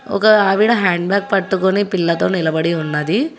ఒక ఆవిడా హ్యాండబాగ్ పట్టుకొని పిల్లతో నిలబడి ఉన్నది.